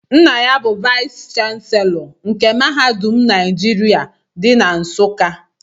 Nna ya bu vayis chansilọ nke mahadum Naijiria dị na Nsuka.